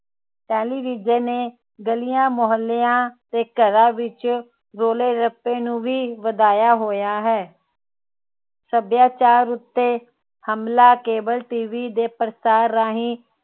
television ਨੇ ਗਲੀਆਂ ਮੁਹੱਲਿਆਂ ਤੇ ਘਰਾਂ ਵਿਚ ਰੋਲੇ ਰੱਪੇ ਨੂੰ ਵੀ ਵਧਾਇਆ ਹੋਇਆ ਹੈ ਸੱਭਿਆਚਾਰ ਉਤੇ ਹਮਲਾ cableTV ਦੇ ਪ੍ਰਸਾਰ ਰਾਹੀਂ